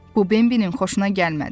Bu Bembinin xoşuna gəlmədi.